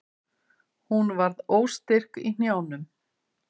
Hún varð óstyrk í hnjánum.